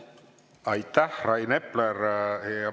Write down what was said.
Aitäh, Rain Epler!